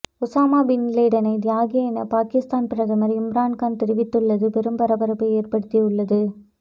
Osama பின்லேடனை தியாகி என பாகிஸ்தான் பிரதமர் இம்ரான்கான் தெரிவித்துள்ளது பெரும் பரபரப்பை ஏற்படுத்தி உள்ளது